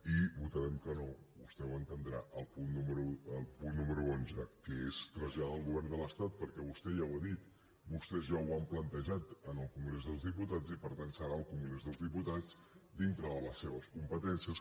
i votarem que no vostè ho entendrà al punt número onze que és traslladar al govern de l’estat perquè vostè ja ho ha dit vostès ja ho han plantejat en el congrés dels diputats i per tant serà el congrés dels diputats dintre de les seves competències